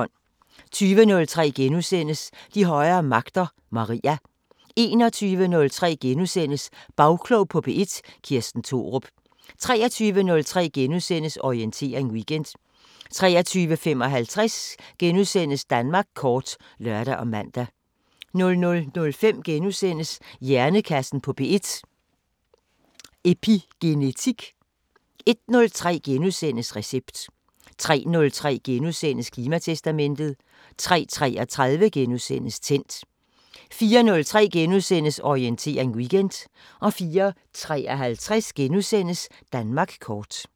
20:03: De højere magter: Maria * 21:03: Bagklog på P1: Kirsten Thorup * 23:03: Orientering Weekend * 23:55: Danmark kort *(lør og man) 00:05: Hjernekassen på P1: Epigenetik * 01:03: Recept * 03:03: Klimatestamentet * 03:33: Tændt * 04:03: Orientering Weekend * 04:53: Danmark kort *